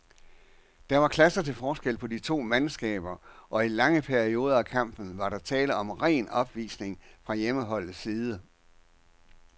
Der var klasser til forskel på de to mandskaber, og i lange perioder af kampen var der tale om ren opvisning fra hjemmeholdets side.